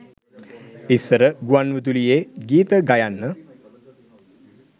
ඉස්සර ගුවන් විදුලියේ ගීත ගයන්න